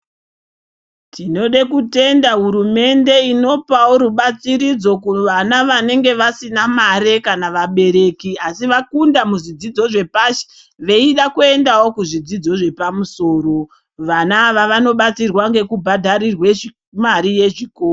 Tinode kutenda hurumende inopawo rubatsiridzo kuvana vanenge vasina mare kana vabereki asi vakunda pazvidzidzo zvepashi veida kuendawo pazvidzidzo zvepamusoro vana ava vanobatsirwa ngeku bhadharirwa mare ye chikoro.